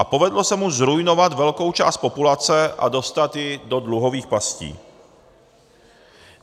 A povedlo se mu zruinovat velkou část populace a dostat ji do dluhových pastí.